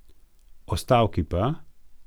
O stavki pa ...